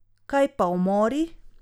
Kaj pa umori?